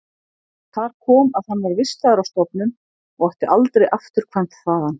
Þar kom að hann var vistaður á stofnun og átti aldrei afturkvæmt þaðan.